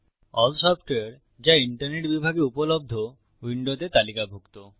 all সফটওয়ারে যা internet বিভাগে উপলব্ধ উইন্ডোতে তালিকাভুক্ত